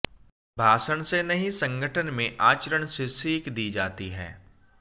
भाषण से नहीं संगठन में आचरण से सीख दी जाती है